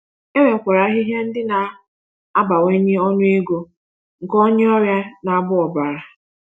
E nwekwara ahịhịa ndị ga-abawanye ọnụego nke onye ọrịa na-agba ọbara.